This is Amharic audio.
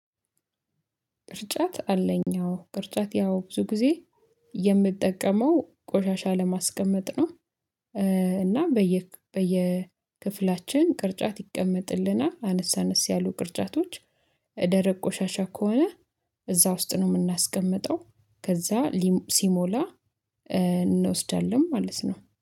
ቅርጫት አለኝ አዎ ቅርጫት ያው ብዙ ጊዜ የምጠቀመው ቆሻሻ ለማስቀመጥ ነው። እና በየ በየ ክፍላችን ቅርጫት ይቀመጥልናል አነስ አነስ ያሉ ቅርጻቶች። ደረቅ ቆሻሻ ከሆነ እዛ ውስጥ ነው የምናስቀምጠው ከዛ ሊ ሲሞላ እንወስዳለን ማለት ነው